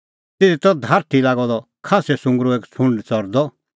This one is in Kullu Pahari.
तिधी त धारठी लागअ द खास्सै सुंगरो एक छ़ुंड च़रदअ